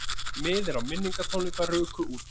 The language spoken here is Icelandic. Miðar á minningartónleika ruku út